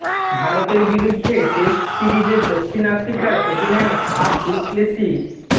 ভারতের বিরুদ্ধে টেস্ট সিরিজে দক্ষিণ আফ্রিকার অধিনায়ক ফাফ দু প্লেসি